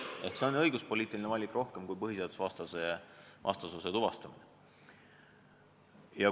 See on rohkem õiguspoliitiline valik kui põhiseadusvastasuse tuvastamine.